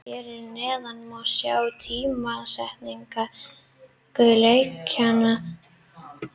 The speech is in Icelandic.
Hér að neðan má sjá tímasetningu leikjanna.